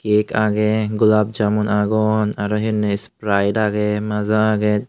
cake agey golab jamun agon aro he honye sprite agey maja agey.